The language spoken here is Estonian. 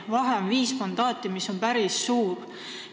Vahe on viis mandaati, mis on päris suur.